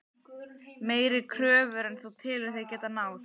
Meiri kröfur en þú telur þig geta náð?